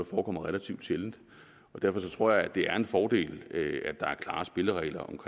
forekommer relativt sjældent derfor tror jeg at det er en fordel at der er klare spilleregler